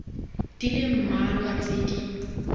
di le mmalwa tse di